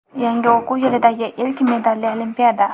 Yangi o‘quv yilidagi ilk medalli olimpiada!.